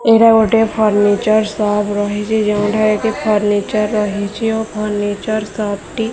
ଏଟା ଗୋଟେ furniture shop ରହିଛି ଯେଉଁ ଠାରେ କି ଫର୍ଣ୍ଣିଚର ରହିଛି ଓ ଫର୍ଣ୍ଣିଚର ସପ ଟି --